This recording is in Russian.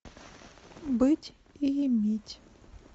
быть и иметь